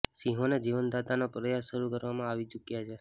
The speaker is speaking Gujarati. સિંહોને જીવંતદાનના પ્રયાસ શરૂ કરવામાં આવી ચુક્યા છે